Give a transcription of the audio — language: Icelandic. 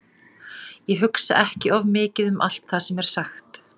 Ég hugsa ekki of mikið um allt það sem er sagt.